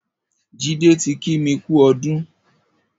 Jide ti kí mi kù ọdùn